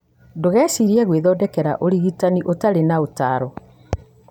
Ndũgeciirie gwĩthondekera ũrigitani ũtarĩ na ũtaaro.